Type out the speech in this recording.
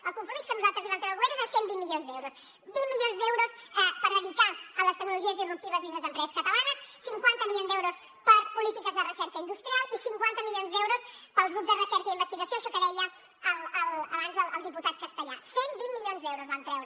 el compromís que nosaltres li vam treure al govern era de cent i vint milions d’euros vint milions d’euros per dedicar a les tecnologies disruptives dins les empreses catalanes cinquanta milions d’euros per a polítiques de recerca industrial i cinquanta milions d’euros per als grups de recerca i investigació això que deia abans el diputat castellà cent i vint milions d’euros vam treure